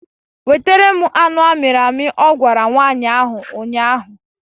Wetara m anụ amịrị amị! Ọ gwara nwaanyị ahụ ụnyaahụ